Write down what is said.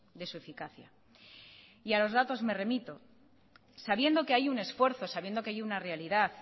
de su eficacia y a los datos me remito sabiendo que hay un esfuerzo sabiendo que hay una realidad